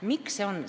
Miks see on?